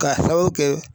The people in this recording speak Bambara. Kaw kɛ